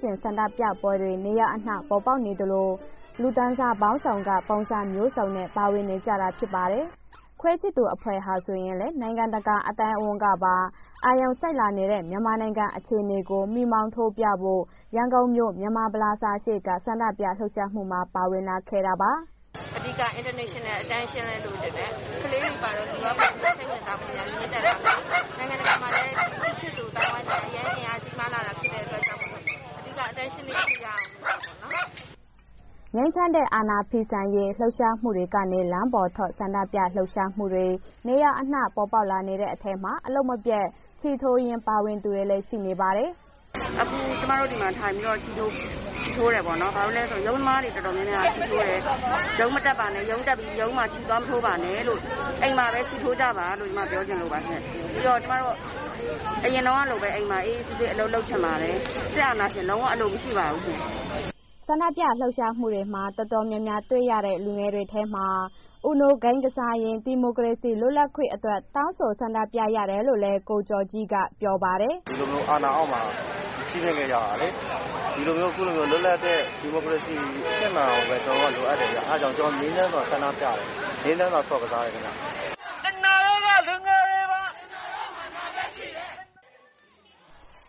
ကျင်တဲ့ ဆန္ဒပြပွဲတွေ နေရာအနှံ့ ပေါ်ပေါက်နေသလို၊ လူတန်းစားပေါင်းစုံက ပုံစံမျိုးစုံနဲ့ ပါဝင်လာနေတာ ဖြစ်ပါတယ်။ ခွေးချစ်သူများအဖွဲ့ဟာ ဆိုရင်လည်း နိုင်ငံတကာ အသိုင်းအဝန်းကပါ အာရုံစိုက်လာနေတဲ့ မြန်မာနိုင်ငံ အခြေအနေကို မီးမောင်းထိုးပြဖို့ ရန်ကုန်မြို့ ပလာဇာရှေ့က ဆန္ဒပြလှုပ်ရှားမှုမှာ ပါဝင်လာခဲ့တာပါ။ ဆန္ဒပြသူ တစ်ဦး “အဓိက international attention လည်း လိုချင်တယ်၊ ကလေးတွေပါတော့ လူက စိတ်ဝင်စားဖွယ်ရာ မြင့်တက်မလား၊ နိုင်ငံတကာမှာလည်း ဒီခွေးချစ်သူ အသိုင်းအဝိုင်းလည်း အရမ်းအင်အားကြီးမားလာတာ ဖြစ်တဲ့အတွက်ကြောင့်မို့လို့ အဓိက international attention တစ်ခုရအောင်ဖို့အတွက်ပေါ့နော်။” ငြိမ်းချမ်းတဲ့ အာဏာဖီဆန်ရေး လှုပ်ရှားမှုတွေကနေ လမ်းပေါ်ထွက် ဆန္ဒပြလှုပ်ရှားမှုတွေ နေရာအနှံ့ ပေါ်ပေါက်လာနေတဲ့ အထဲမှာ အလုပ်မပျက် ချည်ထိုးရင်း ပါဝင်လာသူတွေလည်း ရှိပါတယ်။ ဆန္ဒပြသူ တစ်ဦး “ရုံးသမားတော်တော်များများက ချည်ထိုးတယ်၊ ရုံးမတက်ပါနဲ့ ရုံးတက်ပြီး ချည်သွားမထိုးပါနဲ့လို့ အိမ်မှာပဲ ချည်ထိုးကြပါလို့ ကျမပြောချင်လို့ပါရှင်း၊ ပြီးတော့ ကျမတို့ အရင်တုန်းကလိုပဲ အိမ်မှာ အေးအေးဆေးဆေး အလုပ်လုပ်ချင်ပါတယ်၊ စစ်အာဏာရှင် လုံးဝအလိုမရှိပါဘူးရှင်။” ဆန္ဒပြလှုပ်ရှားမှုတွေမှာ တော်တော်များများတွေ့ရတဲ့ လူငယ်တွေထဲမှာ UNO ဂိမ်းကစားရင်း ဒီမိုကရေစီလွတ်လပ်ခွင့်တွေအတွက် တောင်းဆိုဆန္ဒပြသူတွေလည်း ရှိပါတယ်။ ဆန္ဒပြသူတစ်ဦး “ဒီလိုမျိုး အာဏာအောက်မှာ ကြီးပြင်ခဲ့ကြတာလေ ဒီလိုမျိုး အခုလိုမျိုးလွတ်လပ်တဲ့ ဒီမိုကရေစီအဆင့်မှာပဲ ကျနော်တို့က လိုအပ်တယ်ဗျ၊ အာ့ကြောင့် ကျနော်တို့ ငြိမ်းချမ်းစွာဆန္ဒပြတယ်၊ ငြိမ်းချမ်းစွားဆော့ကစားတယ်ခင်ဗျ။”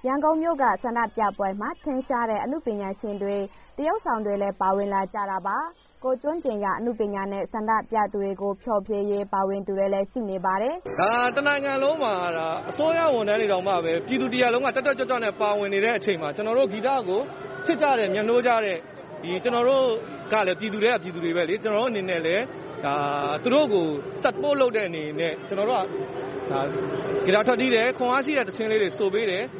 ရန်ကုန်မြို့က ဆန္ဒပြပွဲမှာ ထင်ရှားတဲ့ အနုပညာရှင်တွေ၊ သရုပ်ဆောင်တွေလည်း ပါဝင်လာကြတာပါ။ ကိုယ်ကျွမ်းကျင်ရာ အနုပညာနဲ့ ဆန္ဒပြသူတွေကို ဖြေဖျော်ရင်း ပါဝင်သူတွေလည်း ရှိပါတယ်။ မြန်မာလာကလီ ရောဘာဂရု “တစ်နိုင်ငံလုံးမှာ အစိုးရဝန်ထမ်းတွေတောင်မှာပဲ ပြည်သူတစ်ရပ်လုံးက တက်တက်ကြွကြွပါဝင်နေတဲ့ အချိန်မှာ ကျနော်တို့ ဂီတကို ချစ်ကြတဲ့ မြတ်နိုးကြတဲ့ ဒီကျနော်တို့ကလည်း ပြည်သူထဲက ပြည်သူတွေပဲလေ ကျနော်တို့အနေနဲ့လည်း သူတို့ကို support လုပ်တဲ့ အနေနဲ့ ကျနော်တို့က ဂီတာထွက်တီးတယ် ခွန်းအားရှိတဲ့ သီချင်းလေဆိုပေးတယ်။”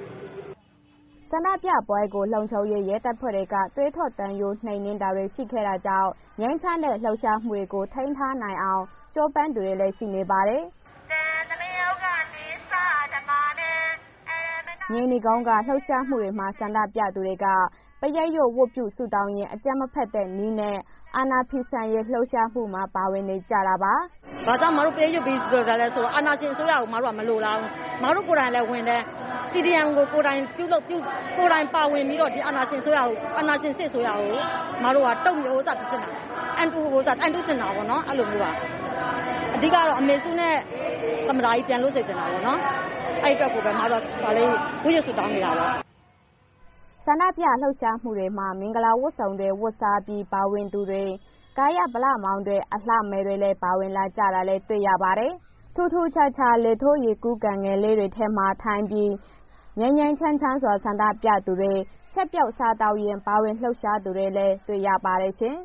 ဆန္ဒပြပွဲတွေကို လုံခြုံရေးတပ်ဖွဲ့တွေက သွေးထွက်သံယို နှိမ်နင်းတာတွေ ရှိခဲ့တာကြောင့် ငြိမ်းချမ်းတဲ့ လှုပ်ရှားမှုတွေကို ထိန်းထားနိုင်အောင် ကြိုးပမ်းသူတွေလည်း ရှိပါတယ်။ မြေနီကုန်းက လှုပ်ရှားမှုမှာတော့ ဆန္ဒပြသူတွေက ပရိတ်ရွတ် ဝတ်ပြုဆုတောင်းရင်း အကြမ်းမဖက်တဲ့နည်းနဲ့ အာဏာဖီဆန်ရေး လှုပ်ရှားမှုမှာ ပါဝင်နေကြတာပါ။ ပရိတ်ရွတ်ဆန္̔ဒပြသူ “ဘာကြောင့် အစ်မတို့ ပရိတ်ရွတ်ပြီး လာပြလည်းဆိုတော့ အာဏာရှင်အစိုးရကို အစ်မတို့ မလိုလာဘူး အစ်မတို့ကိုယ်ကလည်း ဝန်ထမ်း CDM ကို ကိုယ်တိုင်းပါဝင်ပြီးတော့ ဒီအာဏာရှင်စစ်အစိုးရကို အစ်မတို့က အံတုချင်တာပေါ့နော် အဲ့လိုမျိုးပါ အဓိကတော့ အမေစုနဲ့ သမ္မတကြီးပြန်လွတ်စေချင်တာပေါ့နော်၊ အဲ့အတွက်ကို အစ်မတို့ ဝတ်ပြုဆုတောင်းနေတာ။” ဆန္ဒပြလှုပ်ရှားမှုတွေမှာ မင်္ဂလာဝတ်စုံတွေ ဝတ်စားပြီး ပါဝင်သူတွေ ကာယဗလမောင်တွေ၊ အလှမယ်တွေ ပါဝင်လာကြတာလည်း တွေ့ရပါတယ်။ ထူးထူးခြားခြား လေထိုးရေကူးကန်ငယ်လေးတွေထဲမှာထိုင်ပြီး ငြိမ်းငြိမ်းချမ်းချမ်းစွာ ဆန္ဒပြသူတွေ၊ ချက်ပြုတ်စားသောက်ရင်း ပါဝင်လှုပ်ရှားသူတွေကိုလည်း တွေ့ရပါတယ်ရှင်။